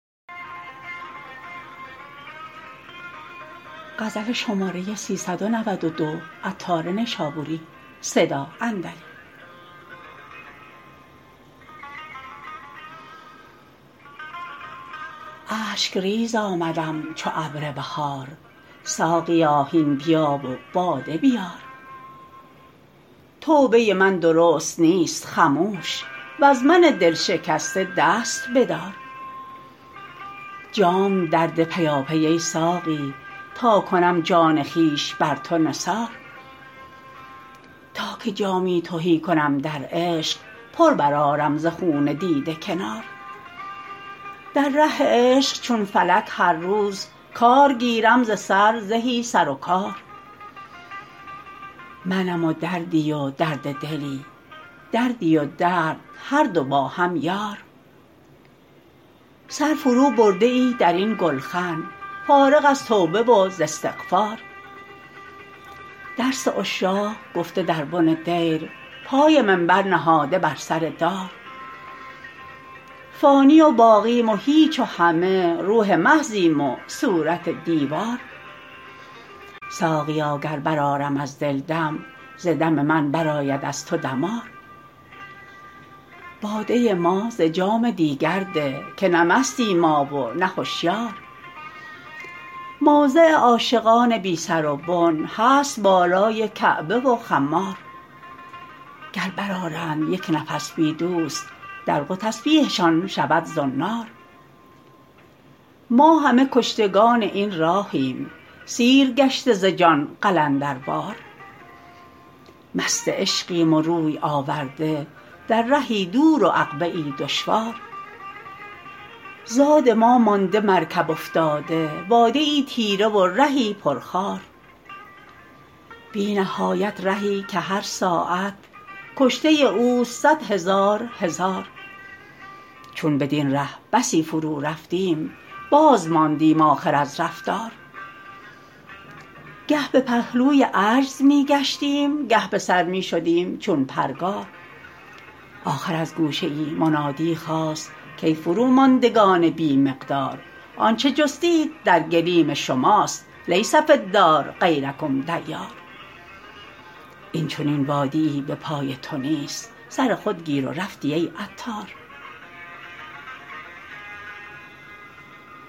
اشک ریز آمدم چو ابر بهار ساقیا هین بیا و باده بیار توبه من درست نیست خموش وز من دلشکسته دست بدار جام درده پیاپی ای ساقی تا کنم جان خویش بر تو نثار تا که جامی تهی کنم در عشق پر برآرم ز خون دیده کنار در ره عشق چون فلک هر روز کار گیرم ز سر زهی سر و کار منم و دردیی و درد دلی دردی و درد هر دو با هم یار سر فرو برده ای درین گلخن فارغ از توبه و ز استغفار درس عشاق گفته در بن دیر پای منبر نهاده بر سر دار فانی و باقیم و هیچ و همه روح محضیم و صورت دیوار ساقیا گر برآرم از دل دم ز دم من برآید از تو دمار باده ما ز جام دیگر ده که نه مستیم ما و نه هشیار موضع عاشقان بی سر و بن هست بالای کعبه و خمار گر برآرند یک نفس بی دوست دلق و تسبیحشان شود زنار ما همه کشتگان این راهیم سیر گشته ز جان قلندروار مست عشقیم و روی آورده در رهی دور و عقبه ای دشوار زاد ما مانده مرکب افتاده وادییی تیره و رهی پر خار بی نهایت رهی که هر ساعت کشته اوست صد هزار هزار چون بدین ره بسی فرو رفتیم باز ماندیم آخر از رفتار گه به پهلوی عجز می گشتیم گه به سر می شدیم چون پرگار آخر از گوشه ای منادی خاست کای فروماندگان بی مقدار آنچه جستید در گلیم شماست لیس فی الدار غیرکم دیار این چنین وادیی به پای تو نیست سر خود گیر و رفتی ای عطار